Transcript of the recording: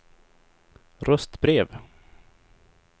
röstbrev